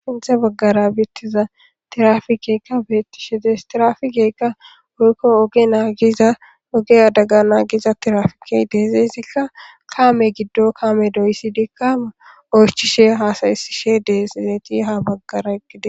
phinthe baggara beettiza tirafikeykka beettishe dees tirafigeykka woykko oge naagiza oge adaga naagiza tirafikey deezeesikka kaame giddo kaame doysside kaame oychishe haasayesishe deesezeti ha baggara eqqide